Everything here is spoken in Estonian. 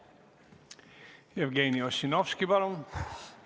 Jevgeni Ossinovski, palun!